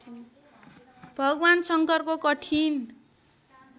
भगवान् शङ्करको कठिन